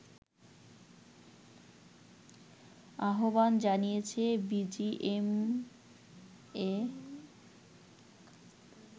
আহ্বান জানিয়েছে বিজিএমইএ